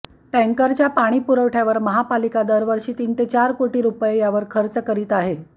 टँकरच्या पाणीपुरवठ्यावर महापालिका दरवर्षी तीन ते चार कोटी रुपये यावर खर्च करीत आहे